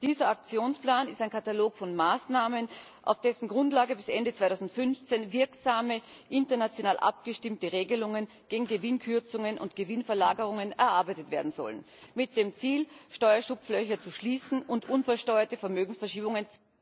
Dieser Aktionsplan ist ein Katalog von Maßnahmen, auf dessen Grundlage bis Ende 2015 wirksame, international abgestimmte Regelungen gegen Gewinnkürzungen und Gewinnverlagerungen erarbeitet werden sollen mit dem Ziel, Steuerschlupflöcher zu schließen und unversteuerte Vermögensverschiebungen